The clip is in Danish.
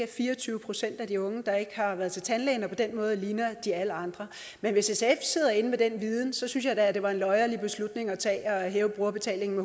fire og tyve procent af de unge der ikke har været til tandlægen og på den måde ligner de alle andre men hvis sf sidder inde med den viden synes jeg da at det var en løjerlig beslutning at tage at hæve brugerbetalingen